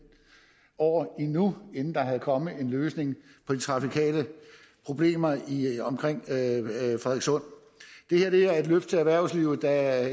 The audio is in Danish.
år endnu inden der var kommet en løsning på de trafikale problemer omkring frederikssund det her er et løft til erhvervslivet der er